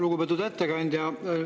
Lugupeetud ettekandja!